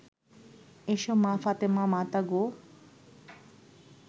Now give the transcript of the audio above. এসো মা ফাতেমা মাতা গো